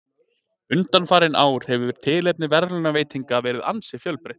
Undanfarin ár hefur tilefni verðlaunaveitinganna verið ansi fjölbreytt.